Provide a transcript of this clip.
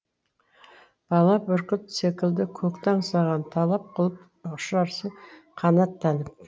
бала бүркіт секілді көкті аңсаған талап қылып ұшарсың қанаттанып